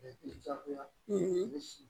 Jagoya